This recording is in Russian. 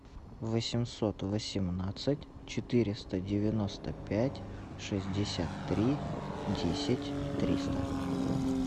восемьсот восемнадцать четыреста девяносто пять шестьдесят три десять триста